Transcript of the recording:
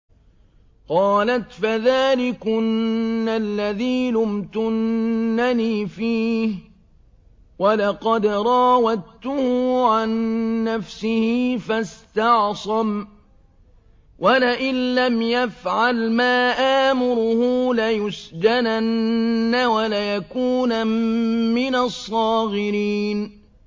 قَالَتْ فَذَٰلِكُنَّ الَّذِي لُمْتُنَّنِي فِيهِ ۖ وَلَقَدْ رَاوَدتُّهُ عَن نَّفْسِهِ فَاسْتَعْصَمَ ۖ وَلَئِن لَّمْ يَفْعَلْ مَا آمُرُهُ لَيُسْجَنَنَّ وَلَيَكُونًا مِّنَ الصَّاغِرِينَ